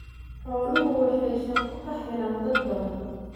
Xooluhu waxay shaqo ka helaan dad badan.